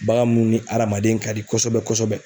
Bagan munnu ni adamaden ka di kosɛbɛ kosɛbɛ